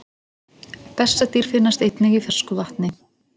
Bessadýr finnast einnig í fersku vatni.